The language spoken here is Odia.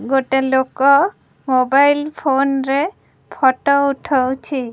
ଗୋଟେ ଲୋକ ମୋବାଇଲ ଫୋନ ରେ ଫଟୋ ଉଠଉଛି।